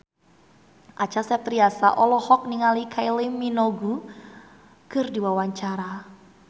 Acha Septriasa olohok ningali Kylie Minogue keur diwawancara